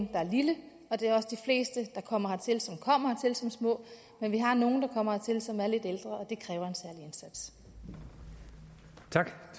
der er lille og det er også de fleste der kommer hertil som små men vi har nogle som kommer hertil og som er lidt ældre og